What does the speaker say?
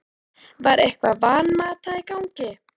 Var eitthvað Van Mata í gangi?